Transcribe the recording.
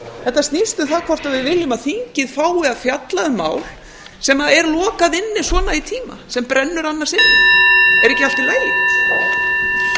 þetta snýst um það hvort við viljum að þingið fá að fjalla um mál sem er lokað inni svona í tíma sem brennur annars inni er ekki allt í lagi